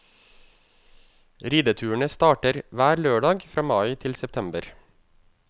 Rideturene starter hver lørdag fra mai til september.